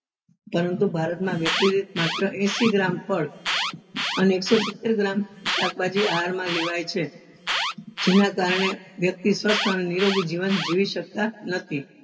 પરંતુ ભારત વ્યક્તિ દીઠ માત્ર એસી gram ફળ અને એકસો સિત્તેર gram શાકભાજી આહાર માં લેવાય છે જેના કારણે વ્યક્તિ સ્વસ્થ અને નીરોગી જીવન જીવી શકતા નથી.